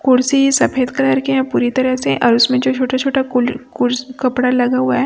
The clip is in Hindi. कुर्सी सफेद कलर के है पूरी तरह से और उसमें जो छोटे छोटे कुल कूर कपड़ा लगा हुआ है--